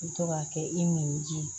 I bi to ka kɛ i nɛnji ye